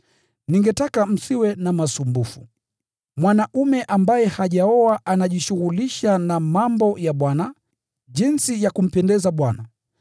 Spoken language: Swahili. Ningetaka msiwe na masumbufu. Mwanaume ambaye hajaoa anajishughulisha na mambo ya Bwana, jinsi ya kumpendeza Bwana.